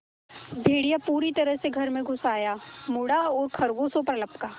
भेड़िया पूरी तरह से घर में घुस आया मुड़ा और खरगोशों पर लपका